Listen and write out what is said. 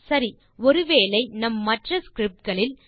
சரி ஒரு வேளை நம் மற்ற ஸ்கிரிப்ட் களில்